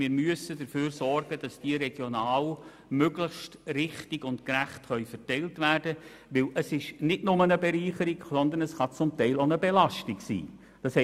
Wir müssen dafür sorgen, dass sie regional und möglichst richtig und gerecht verteilt werden können, denn es ist nicht nur eine Bereicherung, sondern kann auch eine Belastung sein.